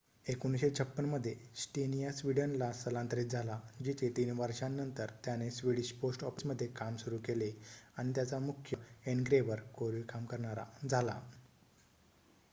१९५६ मध्ये स्टेनिया स्वीडनला स्थलांतरित झाला जिथे ३ वर्षांनंतर त्याने स्वीडिश पोस्ट ऑफिसमध्ये काम सुरू केले आणि त्यांचा मुख्य एनग्रेव्हर कोरीव काम करणारा झाला